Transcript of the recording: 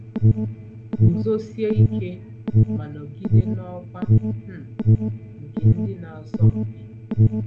Guzosie ike ma nọgide n'ọkwa um nke ndị na-asọ mpi.